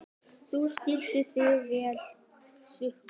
Þú stendur þig vel, Huxley!